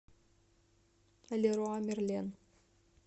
леруа мерлен